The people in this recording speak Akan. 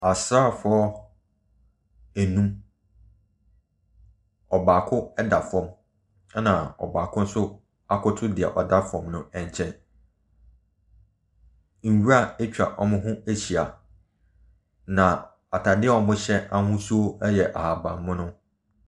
Asrafoɔ enum. Ɔbaako da fam, ɛna ɔbaako nso akoto dea ɔda fam no nkyɛn. Nwura ɛtwa wɔn ho ɛhyia na ataade a wɔhyɛ ahosuo ɛyɛ ahaban mono.